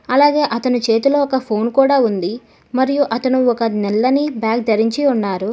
అలాగే అతను చేతిలో ఒక ఫోన్ కూడా ఉంది మరియు అతను ఒక నల్లని బ్యాగ్ ధరించి ఉన్నారు.